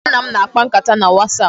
Mụ na nna m na-akpa nkata na wasapụ